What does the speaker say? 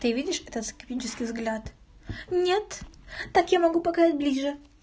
ты видишь это скептический взгляд неет так я могу показать ближе